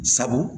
Sabu